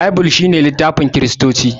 Baibul shine littafin kiristoci